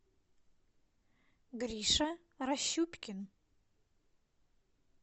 гриша рощупкин